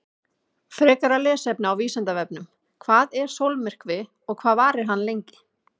Frekara lesefni á Vísindavefnum: Hvað er sólmyrkvi og hvað varir hann lengi?